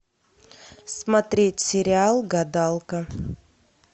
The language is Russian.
смотреть сериал гадалка